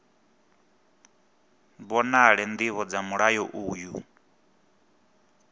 vhonale ndivho dza mulayo uyu